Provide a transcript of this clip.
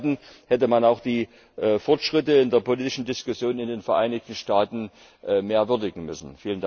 Zum Zweiten hätte man auch die Fortschritte in der politischen Diskussion in den Vereinigten Staaten mehr würdigen müssen.